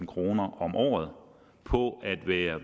kroner om året på at være